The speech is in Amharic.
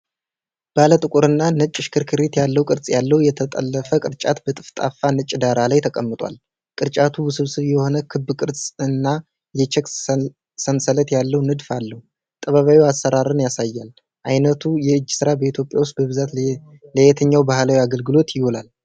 ባለጥቁርና ነጭ ሽክርክሪት ያለው ቅርጽ ያለው የተጠለፈ ቅርጫት በጠፍጣፋ ነጭ ዳራ ላይ ተቀምጧል። ቅርጫቱ ውስብስብ የሆነ ክብ ቅርጽና የቼክ ሰንሰለት ያለው ንድፍ አለው፡፡ ጥበባዊ አሠራርን ያሳያል። ዓይነቱ የእጅ ሥራ በኢትዮጵያ ውስጥ በብዛት ለየትኛው ባህላዊ አገልግሎት ይውላል?